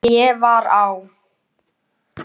Ég var á